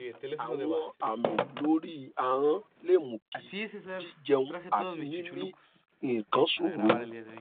àwọn àmì lórí ahọn lè mú kí jíjẹun àti mímì nǹkan ṣòro